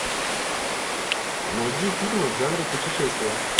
найди фильмы в жанре путешествия